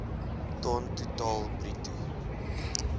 ton totaal bruto